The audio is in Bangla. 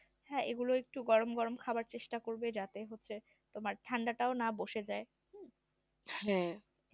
হ্যাঁ এগুলো একটু গরম গরম খেতে চেষ্টা করবে যাতে হচ্ছে ঠান্ডা টা জানো না বসে যাই